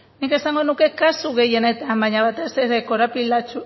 nik esango nuke kasu gehienetan baina batez ere